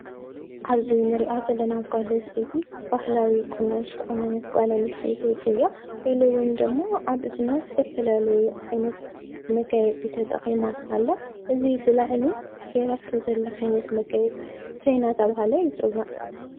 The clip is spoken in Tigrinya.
ኣብዚ እንሪኣ ዘለና ጓል ኣንስተይቲ ባህላዊ ቁኖ ዝተቆነነት ጓል ኣንስተይቲ እያ። ኢሉ እውን ደሞ ኣብ እዝና ዝተፈላለዩ ዓይነት መጋየፂ ተጠቒማ ኣላ ።እዚ ብላዕሊ ገይራቶ ዘላ ዓይነት መጋየፂ እንታይ እንዳተባሃለ ይፅዋዕ?